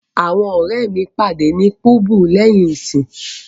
Awọn ọrẹ mi pade ni Pubu lẹhin iṣẹ.